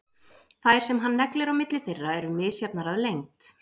Þær sem hann neglir á milli þeirra eru misjafnar að lengd.